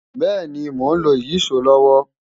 Bẹ́ẹ̀ni, mò ń lo ìyíṣòó lọ́wọ́